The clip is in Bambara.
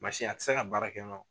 Mansin a tɛ se ka baara kɛ nɔ